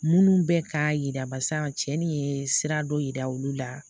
Minnu bɛ k'a yira barisa cɛnni ye sira dɔ yira olu la